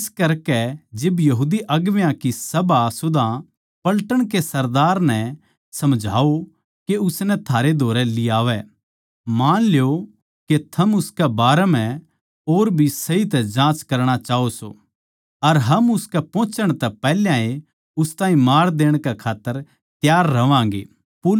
इस करकै इब बड्डी सभा सुदा पलटन के सरदार नै समझाओ के उसनै थारै धोरै लियावै मान ल्यो के थम उसकै बारै म्ह और भी सही तै जाँच करणा चाहवो सो अर हम उसकै पोहोचण तै पैहल्याए उस ताहीं मार देण कै खात्तर त्यार रहवांगें